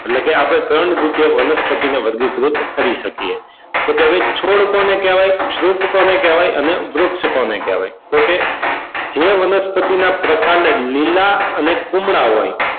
એટલે કે ત્રણ રીતે આપણે વનસ્પતિની વર્ગીકૃત કરી શકીએ. તો કે હવે છોડ કોને કહેવાય, ક્ષુપ કોને કહેવાય અને વૃક્ષ કોને કહેવાય તો કે જે વનસ્પતિ ના પ્રકાંડ લીલા અને કુમળા હોય,